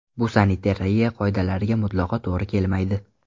Bu sanitariya qoidalariga mutlaqo to‘g‘ri kelmaydi”.